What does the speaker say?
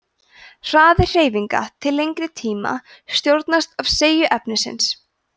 hraði hreyfinga til lengri tíma stjórnast af seigju efnisins